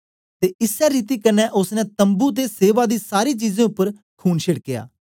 ते इसै रीति कन्ने ओसने तम्बू ते सेवा दी सारी चीजें उपर खून छेड्कया